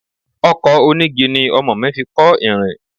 Ọkọ̀ onígi ni ọmọ mi fi kọ́ ìrìn.